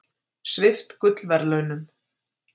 Svipt gullverðlaunum